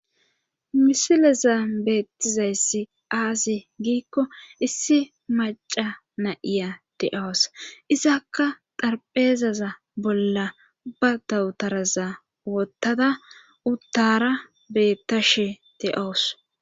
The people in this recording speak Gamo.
Misileza beettizayssi aazi giikko issi maca na7iya de7awus izakka darpheezaza bolla ba dawutaraza wottada uttara beettashe de7awus